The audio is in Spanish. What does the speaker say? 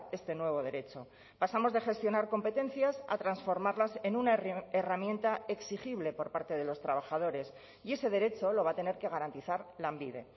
este nuevo derecho pasamos de gestionar competencias a transformarlas en una herramienta exigible por parte de los trabajadores y ese derecho lo va a tener que garantizar lanbide